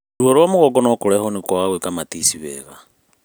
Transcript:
Ruo rwa mũgongo no kũrehwo nĩ kwaga gũika matici wega